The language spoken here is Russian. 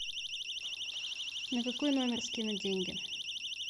на какой номер скинуть деньги